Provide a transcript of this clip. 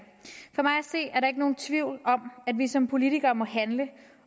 se er der ikke nogen tvivl om at vi som politikere må handle